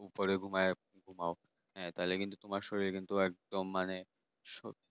পরে ঘুমিয়ে ঘুমাও হ্যাঁ তাহলে কিন্তু তোমার শরীর কিন্তু একদম মানে সো